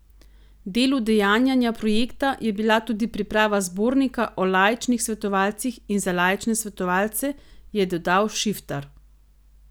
Del udejanjanja projekta je bila tudi priprava zbornika o laičnih svetovalcih in za laične svetovalce, je dodal Šiftar.